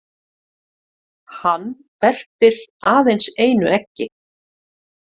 Hann verpir aðeins einu eggi.